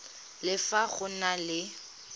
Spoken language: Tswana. le fa go na le